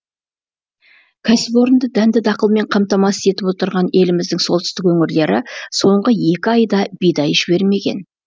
кәсіпорынды дәнді дақылмен қамтамасыз етіп отырған еліміздің солтүстік өңірлері соңғы екі айда бидай жібермеген